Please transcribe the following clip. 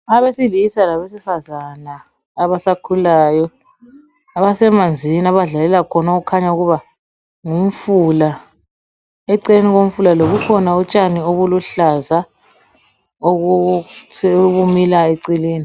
abesilisa labesifazana abasakhulaya abasemanzini abadlalela khona okukhanya ukuba ngumfula eceleni komfula lo kukhona utshani obuluhlaza okumilayo eceleni